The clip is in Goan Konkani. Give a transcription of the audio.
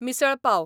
मिसळ पाव